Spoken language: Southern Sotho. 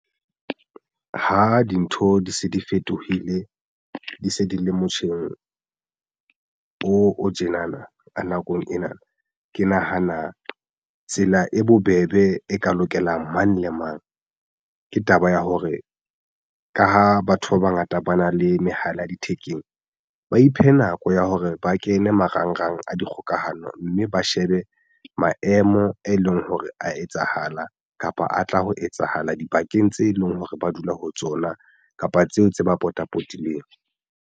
Ha dintho di se di fetohile di se di le motjheng o o tjena na a nakong ena. Ke nahana tsela e bobebe e ka lokelang mang le mang ke taba ya hore ka ha batho ba bangata ba na le mehala ya thekeng, ba iphe nako ya hore ba kene marangrang a dikgokahano mme ba shebe maemo e leng hore a etsahala kapa a tla ho etsahala dibakeng tse leng hore ba dula ho tsona kapa tseo tse ba potapotileng.